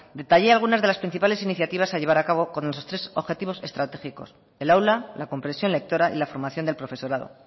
detallé algunas de las principales iniciativas a llevar a cabo con estos tres objetivos estratégicos el aula la compresión lectora y la formación del profesorado